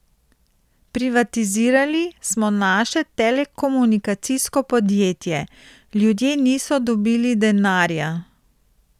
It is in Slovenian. Privatizirali smo naše telekomunikacijsko podjetje, ljudje niso dobili denarja ...